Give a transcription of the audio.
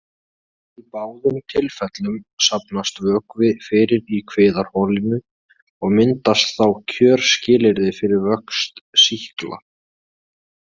Í báðum tilfellum safnast vökvi fyrir í kviðarholinu og myndast þá kjörskilyrði fyrir vöxt sýkla.